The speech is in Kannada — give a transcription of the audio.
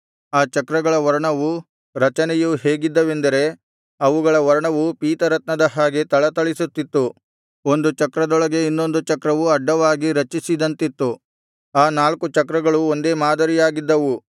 ಆ ಚಕ್ರಗಳ ವರ್ಣವೂ ರಚನೆಯೂ ಹೇಗಿದ್ದವೆಂದರೆ ಅವುಗಳ ವರ್ಣವು ಪೀತರತ್ನದ ಹಾಗೆ ಥಳಥಳಿಸುತ್ತಿತ್ತು ಒಂದು ಚಕ್ರದೊಳಗೆ ಇನ್ನೊಂದು ಚಕ್ರವು ಅಡ್ಡವಾಗಿ ರಚಿಸಿದಂತಿತ್ತು ಆ ನಾಲ್ಕು ಚಕ್ರಗಳು ಒಂದೇ ಮಾದರಿಯಾಗಿದ್ದವು